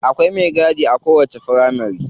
Akwai me gadi a kowacce firamari.